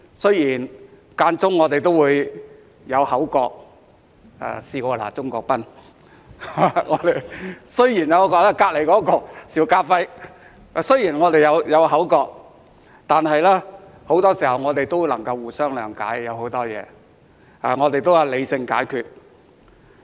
雖然間中我們也會有口角，我曾試過罵鍾國斌議員和他旁邊的邵家輝議員，但很多時候，我們也能互相諒解，對很多事情，我們都是理性解決。